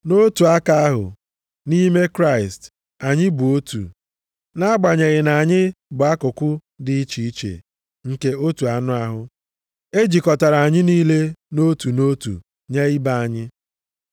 nʼotu aka ahụ, nʼime Kraịst anyị bụ otu, nʼagbanyeghị na anyị bụ akụkụ dị iche iche nke otu anụ ahụ. E jikọtara anyị niile nʼotu nʼotu nye ibe anyị.